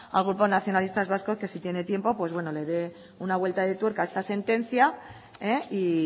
al grupo nacionalistas vascos que si tiene tiempo pues bueno le dé una vuelta de tuerca a esta sentencia y